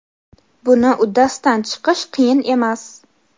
buni uddasidan chiqish qiyin emas.